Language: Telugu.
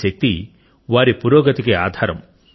ఈ శక్తి వారి పురోగతికి ఆధారం